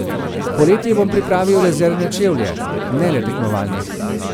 Poleti bom pripravil rezervne čevlje, ne le tekmovalnih.